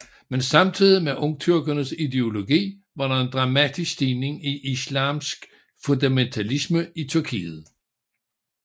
Men samtidig med ungtyrkernes ideologi var der en dramatisk stigning i islamsk fundamentalisme i Tyrkiet